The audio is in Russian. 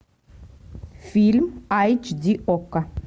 фильм айч ди окко